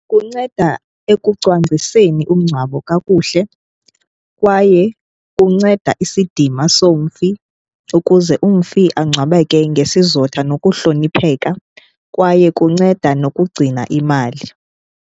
Kunceda ekucwangciseni umngcwabo kakuhle kwaye kunceda isidima somfi ukuze umfi angcwabeke ngesizotha nokuhlonipheka kwaye kunceda nokugcina imali.